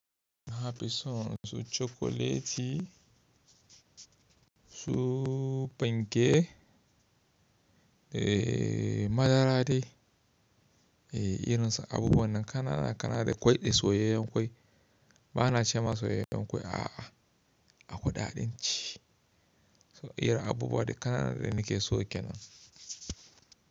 Nafi son su cokoleti, su panke, eh madara dai, eh irin su abubuwan nan ƙananan ƙana da ƙwai da soyayen ƙwai. Ba na cewa soyayen ƙwai a'a, a kudaden ci. So irin abubuwa da ƙananan da nake so kenan.